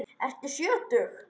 Ertu sjötug?